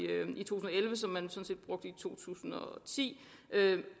to tusind og ti